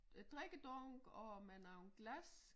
Øh drikkedunk og med nogen glas